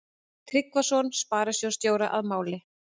Tryggvason sparisjóðsstjóra að máli.